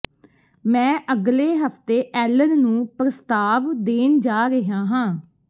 ਮੈਂ ਅਗਲੇ ਹਫਤੇ ਐਲਨ ਨੂੰ ਪ੍ਰਸਤਾਵ ਦੇਣ ਜਾ ਰਿਹਾ ਹਾਂ